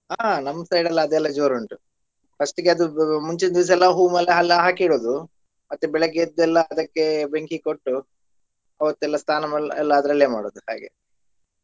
ಆಹ್ ನಮ್ಮ್ side ಎಲ್ಲ ಅದೆಲ್ಲಾ ಜೋರುಂಟು first ಗೆ ಅದು ಮುಂಚಿನ ದಿವ್ಸ ಎಲ್ಲ ಹೂ ಮಾಲೆ ಎಲ್ಲ ಹಾಕಿಡುವುದು ಮತ್ತೆ ಬೆಳಗ್ಗೆ ಎದ್ದೆಲ್ಲ ಅದಕ್ಕೆ ಬೆಂಕಿ ಕೊಟ್ಟು ಅವತ್ತೆಲ್ಲಾ ಸ್ನಾನಾ ಮಾಡೋದ್ ಎಲ್ಲಾ ಅದ್ರಲ್ಲೆ ಮಾಡೋದು ಹಾಗೆ.